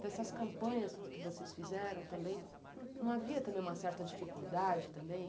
Dessas campanhas que vocês fizeram também, não havia também uma certa dificuldade também?